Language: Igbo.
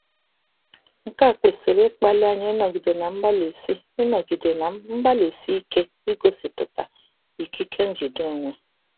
Nke a kwesịrị ịkpali anyị ịnọgide na mgbalịsi ịnọgide na mgbalịsi ike igosipụta ikike njide onwe.